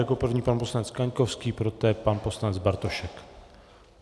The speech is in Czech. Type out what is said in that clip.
Jako první pan poslanec Kaňkovský, poté pan poslanec Bartošek.